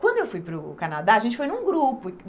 Quando eu fui para o Canadá, a gente foi num grupo.